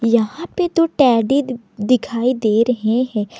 यहां पे तो टेडी दिखाई दे रहे हैं।